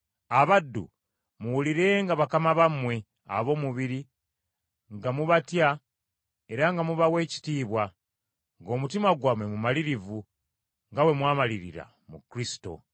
Abaddu, muwulirenga bakama bammwe ab’omu mubiri nga mubatya era nga mubawa ekitiibwa ng’omutima gwammwe mumalirivu, nga bwe mwamalirira mu Kristo.